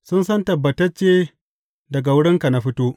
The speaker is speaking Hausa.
Sun san tabbatacce daga wurinka na fito.